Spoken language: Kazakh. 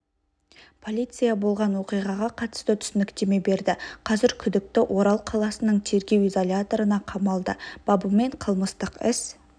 полиция болған оқиғаға қатысты түсініктеме берді қазір күдікті орал қаласының тергеу изоляторына қамалды бабымен қылмыстық іс